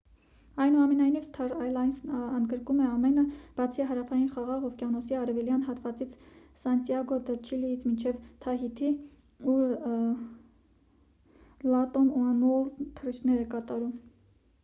այնուամենայնիվ սթար ալյանսն ընդգրկում է ամենը բացի հարավային խաղաղ օվկիանոսի արևելյան հատվածից սանտիագո դը չիլիից մինչև թահիթի ուր լատամ ուանուորլդն է թռիչքներ կատարում